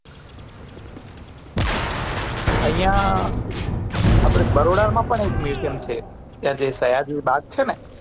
આય્યા આપડે બરોડા માં પણ એક museum છે ત્યાં જે સયાજી બાગ છે ને